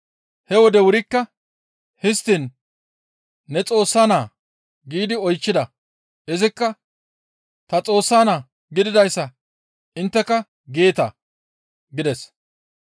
He wode wurikka, «Histtiin ne Xoossa Naa?» giidi oychchida. Izikka, «Ta Xoossa Naa gididayssa intteka geeta» gides.